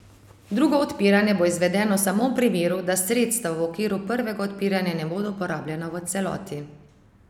Drugo odpiranje bo izvedeno samo v primeru, da sredstva v okviru prvega odpiranja ne bodo porabljena v celoti.